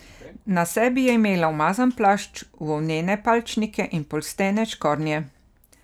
Na sebi je imela umazan plašč, volnene palčnike in polstene škornje.